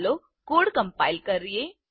ચાલો code compile કરીએ